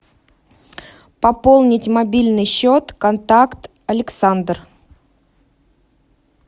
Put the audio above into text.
пополнить мобильный счет контакт александр